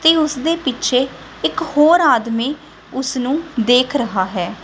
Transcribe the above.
ਤੇ ਉਸਦੇ ਪਿੱਛੇ ਇੱਕ ਹੋਰ ਆਦਮੀ ਉਸਨੂੰ ਦੇਖ ਰਹਾ ਹੈ।